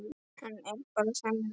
Hann er bara þannig maður.